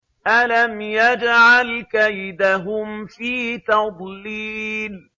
أَلَمْ يَجْعَلْ كَيْدَهُمْ فِي تَضْلِيلٍ